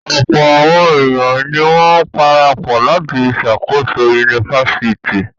Ọ̀pọ̀ àwọn ènìyàn ni wọ́n parapọ̀ láti ṣàkóso yunifásítì.